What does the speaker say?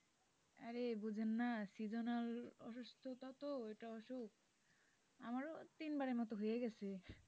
আরে বোঝেন না seasonal অসুস্থতা তো এটা অসুখ আমারও তিনবারের মতো হয়ে গেছে?